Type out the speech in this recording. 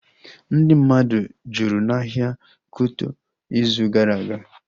Ndị mmadụ jụrụ n'ahịa Kuto ịzụ gara aga